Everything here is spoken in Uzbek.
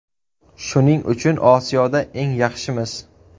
Shuning uchun Osiyoda eng yaxshimiz.